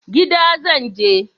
Gida zan je.